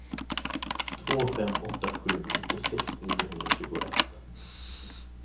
två fem åtta sju nittiosex niohundratjugoett